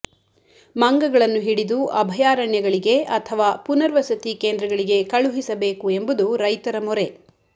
ಮಂಗಗಳನ್ನು ಹಿಡಿದು ಅಭಯಾರಣ್ಯಗಳಿಗೆ ಅಥವಾ ಪುನರ್ವಸತಿ ಕೇಂದ್ರಗಳಿಗೆ ಕಳುಹಿಸಬೇಕು ಎಂಬುದು ರೈತರ ಮೊರೆ